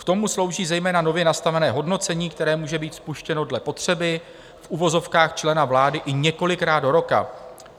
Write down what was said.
K tomu slouží zejména nově nastavené hodnocení, které může být spuštěno dle potřeby v uvozovkách člena vlády i několikrát do roka.